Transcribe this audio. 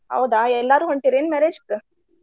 ಹೌದಾ ಎಲ್ಲಾರು ಹೊಂಟೀರಿ ಏನ್ marriage ಕ್?